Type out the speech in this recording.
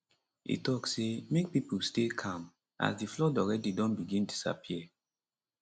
e tok say make pipo stay calm as di flood already don begin disappear